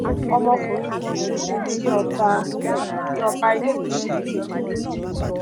ọmọkùnrin kan ṣoṣo tí ọba tí ọba elégùṣì bí kú lójijì